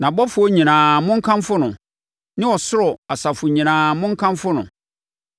Nʼabɔfoɔ nyinaa, monkamfo no, ne ɔsoro asafo nyinaa, monkamfo no.